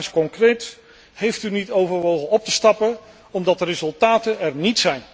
Mijn vraag is concreet heeft u niet overwogen op te stappen, omdat er geen resultaten zijn?